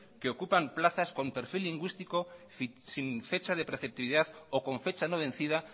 que ocupan plazas con perfil lingüístico sin fecha de receptividad o con fecha no vencida